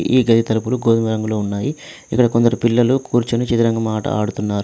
ఈ గది తలుపులు గోధుమ రంగులో ఉన్నాయి ఇక్కడ కొందరు పిల్లలు కూర్చుని చెదరంగం ఆట ఆడుతున్నా --